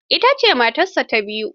Ita ce matarsa ta biyu.